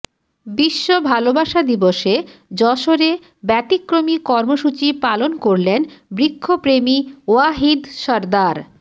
বিশ্ব ভালোবাসা দিবসে যশোরে ব্যতিক্রমী কর্মসূচি পালন করলেন বৃক্ষপ্রেমী ওয়াহিদ সরদার